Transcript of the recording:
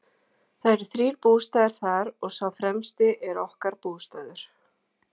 Það eru þrír bústaðir þar og sá fremsti er okkar bústaður.